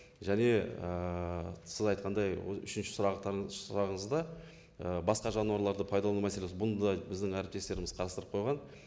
және ііі сіз айтқандай үшінші сұрағыңызда і басқа жануарларды пайдалану мәселесі бұны да біздің әріптестеріміз қарастырып қойған